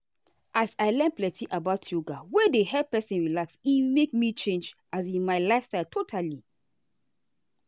as i learn plenty about yoga wey dey help person relax e make me change um my lifestyle totally.